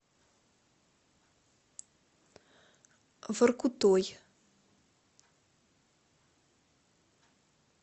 воркутой